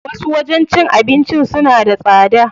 Wasu wajen cin abincin suna da tsada.